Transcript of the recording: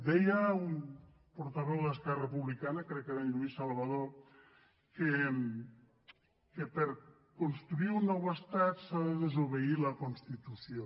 deia un portaveu d’esquerra republicana crec que era en lluís salvadó que per construir un nou estat s’ha de desobeir la constitució